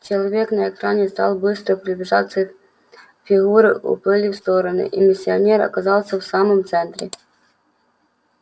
человек на экране стал быстро приближаться фигуры уплыли в стороны и миссионер оказался в самом центре